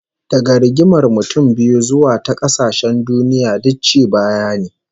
Daga rigimar mutum biyu zuwa ta kasashen duniya, duk ci baya ne